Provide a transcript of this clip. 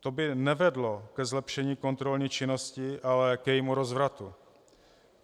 To by nevedlo ke zlepšení kontrolní činnosti, ale k jejímu rozvratu.